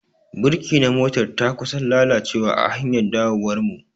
Birki na motar ta kusan lalacewa a hanyar dawowar mu.